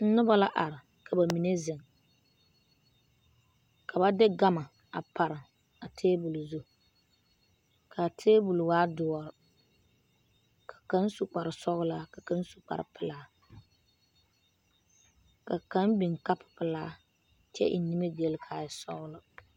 Noba la are ka ba mine zeŋ ka ba de gama a pare a taabɔle zu kaa taabɔl waa doɔre ka kaŋ su kparre sɔgelaa ka kaŋ su kparre pelaa ka kaŋ biŋ ka pelaa eŋ nimigyile ka a e sɔgelɔ